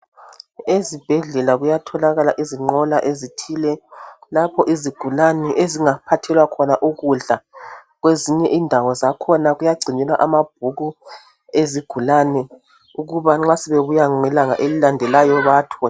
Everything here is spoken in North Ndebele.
Ezibhedlela kuyatholakala izinqola ezithile lapho izigulane ezingaphathelwa khona ukudla kwezinye indawo zakhona kuyagcinelwa amabhuku ezigulane ukuba nxa sebebuya ngelanga elilandelayo bewathole